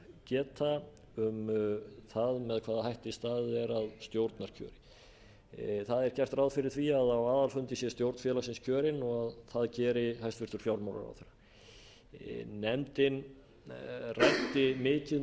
geta um það með hvaða hætti staðið er að stjórnarkjöri það er gert ráð fyrir því að á aðalfundi sé stjórn félagsins kjörin og að það geri hæstvirtur fjármálaráðherra nefndin ræddi mikið